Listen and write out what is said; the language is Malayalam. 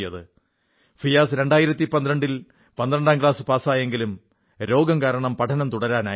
ഫിയാസ് 2012 ൽ 12ാം ക്ലാസ് പാസായെങ്കിലും രോഗം കാരണം പഠനം തുടരാനായില്ല